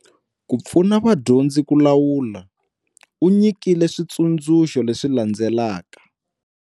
Ku pfuna vadyondzi ku lawula, u nyikile switsundzuxo leswi landzelaka.